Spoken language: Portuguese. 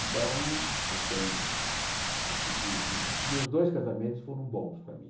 Então, eu tenho acho que meus dois casamentos foram bons para mim.